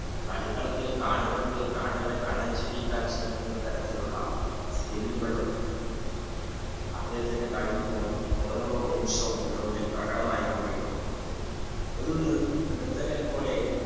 കളിക്കളത്തിൽ കാണികൾക്ക് കാണികളെ കണ്ണൻചിമ്മിക്കാനുള്ള ശ്രമിക്കാൻ തരത്തിലുള്ള skill കളും കളികളിൽ ഓരോ നിമിഷവും പ്രകടമായി കൊണ്ടിരിക്കും ഒരു നിർത്തകനെ പോലെ